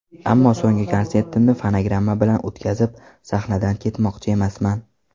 Ammo so‘nggi konsertimni fonogramma bilan o‘tkazib, sahnadan ketmoqchi emasman.